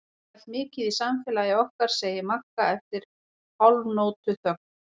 Ég hef pælt mikið í samfélagi okkar, segir Magga eftir hálfnótuþögn.